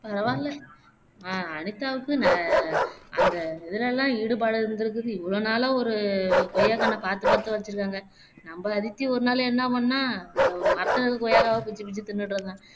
பரவால்ல அஹ் அனிதாவுக்கு ந அந்த இதுலலாம் ஈடுபாடு இருந்துருக்கு இவ்வளோ நாளா ஒரு கொய்யாகன்ன பாத்து பாத்து வச்சுருக்காங்க நம்ம அதித்தி ஒரு நாளு என்ன பண்ணா இந்த மரத்துல இருக்கிற கொய்யாக்கவ பிச்சு பிச்சு திண்ணுட்டு இருந்தா